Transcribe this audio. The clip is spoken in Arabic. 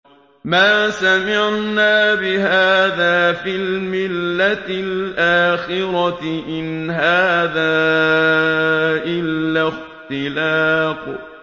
مَا سَمِعْنَا بِهَٰذَا فِي الْمِلَّةِ الْآخِرَةِ إِنْ هَٰذَا إِلَّا اخْتِلَاقٌ